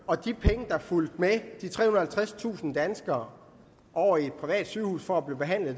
og de penge der fulgte med de trehundrede og halvtredstusind danskere over i et privat sygehus for at blive behandlet